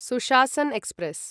Sushasan express